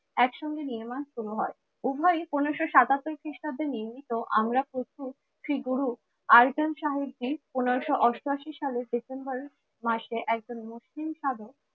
একসঙ্গে নির্মাণ শুরু হয় উভয় পনেরোশো সাতাত্তর খ্রিস্টাব্দে নির্মিত। আমরা প্রথম শ্রীগুরু আয়তন সাহেবজি পনেরোশো অষ্টআশি সালের ডিসেম্বর মাসে একজন মুসলিম সাধক